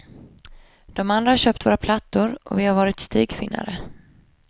De andra har köpt våra plattor, och vi har varit stigfinnare.